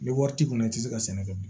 Ni wari t'i kun na i tɛ se ka sɛnɛ kɛ bilen